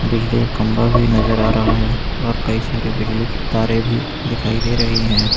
बिजली का खंबा भी नजर आ रहा है और कई सारे बिजली की तारे भी दिखाई दे रही हैं।